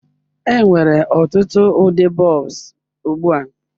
Enwere ọtụtụ ụdị bulbs ugbu a.